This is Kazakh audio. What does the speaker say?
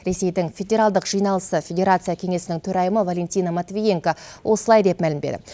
ресейдің федералдық жиналысы федерация кеңесінің төрайымы валентина матвиенко осылай деп мәлімдеді